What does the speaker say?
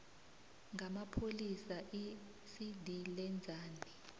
ngamapholisa iicd lenzani